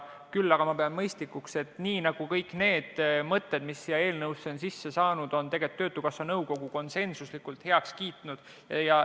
Küll aga pean mõistlikuks, et nii nagu kõik need mõtted, mis on siia eelnõusse sisse saanud, on töötukassa nõukogus konsensuslikult heaks kiidetud.